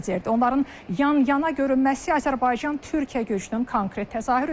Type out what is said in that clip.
Onların yan-yana görünməsi Azərbaycan-Türkiyə gücünün konkret təzahürüdür.